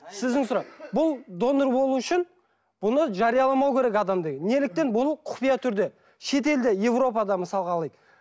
сіздің сұрақ бұл донор болу үшін бұны жарияламау керек адам деген неліктен бұны құпия түрде шетелде европада мысалға алайық